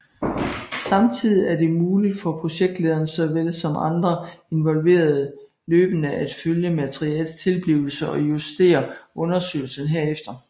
Samtidigt er det muligt for projektlederen såvel som andre involverede løbende at følge materialets tilblivelse og justere undersøgelsen herefter